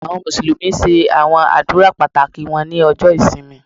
Àwọn Mùsùlùmí ṣe àwọn àdúrà pàtàkì wọn ní ọjọ ìsinmi.